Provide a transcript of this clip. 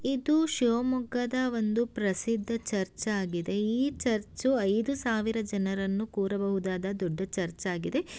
ಇದು ಶಿವಮೊಗ್ಗದ ಒಂದು ಪ್ರಸಿದ್ಧ ಚರ್ಚ್ ಆಗಿದೆ ಈ ಚರ್ಚು ಐದು ಸಾವಿರ ಜನರನ್ನು ಕೂರಬಹುದಾದ ದೊಡ್ಡ ಚರ್ಚೆ ಆಗಿದೆ --